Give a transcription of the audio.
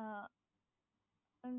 আহ